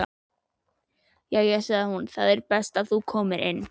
Jæja sagði hún, það er best þú komir inn.